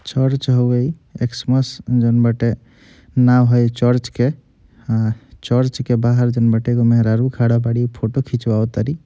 Church हवे ई Xmas जौन बाटे नाम ह ई चर्च के ह चर्च के बाहर जौन बाटे एगो मेहरारू खड़ा बाड़ी फोटो खींचवाव तारी।